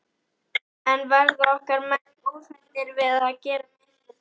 En verða okkar menn óhræddir við að gera mistök þar?